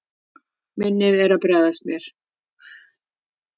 Minnið er að bregðast mér.